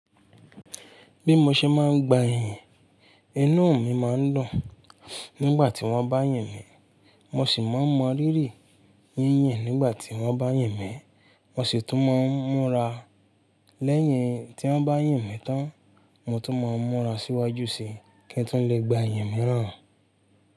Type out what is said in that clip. Bí mo ṣe máa ń gba ìyìn, inú mi máa ń dùn. Nígbà tí wọ́n bá yìn mí, mo sì máa ń mọ rírì. Yínyìn nígbà tí wọ́n bá yìn mí, mo sì tún máa ń múra. Lẹ́yìn tí wọ́n bá yìn mí tán, mo tún máa ń múra síwájú síi kí n tún lè gba ìyìn mìíràn.